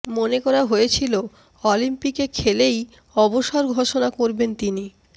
মনে করা হয়েছিল অলিম্পিকে খেলেই অবসর ঘোষণা করবেন তিনি